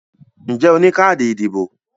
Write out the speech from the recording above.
Ǹjẹ́ o ní káàdì ìdìbò?